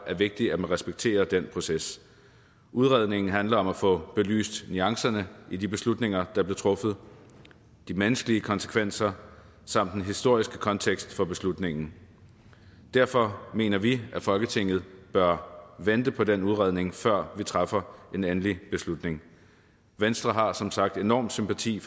er vigtigt at man respekterer den proces udredningen handler om at få belyst nuancerne i de beslutninger der blev truffet de menneskelige konsekvenser samt den historiske kontekst for beslutningen og derfor mener vi at folketinget bør vente på den udredning før vi træffer en endelig beslutning venstre har som sagt enorm sympati